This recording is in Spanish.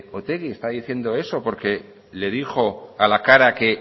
otegi está diciendo eso porque le dijo a la cara que